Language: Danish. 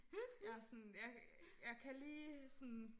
Jeg sådan jeg jeg kan lige sådan